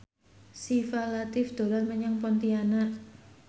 Syifa Latief dolan menyang Pontianak